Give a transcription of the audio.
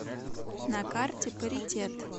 на карте паритет